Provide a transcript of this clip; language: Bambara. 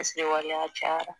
Waleya cayara